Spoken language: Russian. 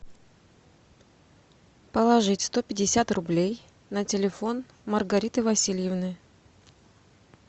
положить сто пятьдесят рублей на телефон маргариты васильевны